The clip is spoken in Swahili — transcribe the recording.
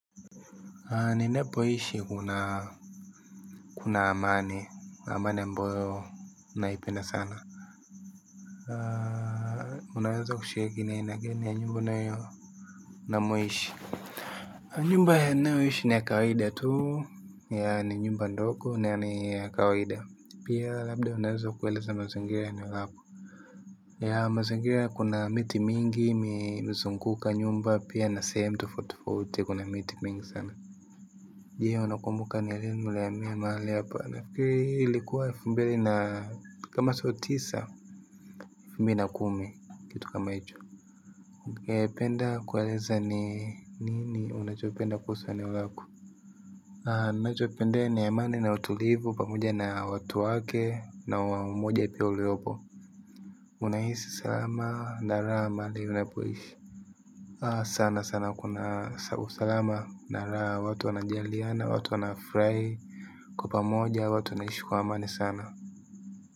Ninapoishi kuna kuna amani amani ambayo naipenda sana unaweza kushiriki ni aina gani ya nyumba unamoishi nyumba ninayoishi ni ya kawida tu yeah ni nyumba ndogo na ni ya kawaida pia labda unaweza kueleza mazingira ya eneo lako yeah mazingira kuna miti mingi imezunguka nyumba pia na sehemu tofauti tofauti kuna miti mingi sana je unakumbuka ni lini mlihamia mahali hapa nafikiri ilikuwa elfu mbili na kama siyo tisa elfu mbili na kumi kitu kama hicho. Ungependa kueleza ni nini unachopenda kuhusu eneo lako. Ninachopendea ni amani na utulivu pamoja na watu wake na umoja pia uliopo. Unahisi salama na raha mahali unapoishi. Sana sana kuna usalama na raha watu wanajaliana, watu wanafurahi kwa pamoja watu wanaishi kwa amani sana.